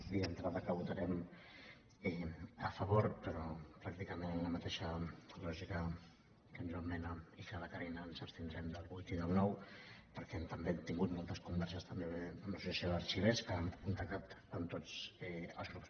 dir d’entrada que hi votarem a favor però pràcticament amb la mateixa lògica que en joan mena i que la carina ens abstindrem del vuit i del nou perquè també hem tingut moltes converses també amb l’associació d’arxivers que han contactat amb tots els grups